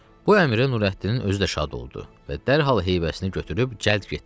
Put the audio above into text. Bu əmrə Nurəddinin özü də şad oldu və dərhal heybəsini götürüb cəld getdi.